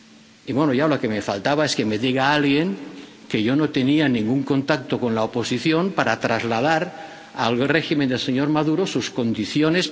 Y, bueno, ya lo que me faltaba es que me diga alguien que yo no tenía ningún contacto con la oposición para trasladar al régimen del señor Maduro sus condiciones.